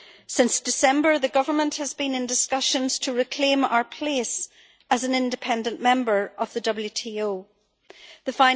Since December, the Government has been in discussions to reclaim our place as an independent member of the World Trade Organization The